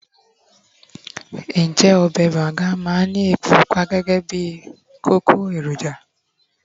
njé obe banga ma n Ni epo pupa gẹgẹ bí kókó eroja